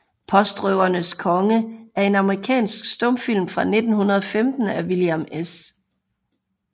Postrøvernes Konge er en amerikansk stumfilm fra 1915 af William S